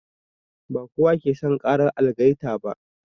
Ba kowa ke son ƙarar algaita ba.